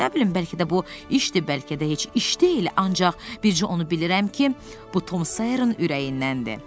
Nə bilim, bəlkə də bu işdir, bəlkə də heç iş deyil, ancaq bircə onu bilirəm ki, bu Tom Sayernin ürəyindəndi.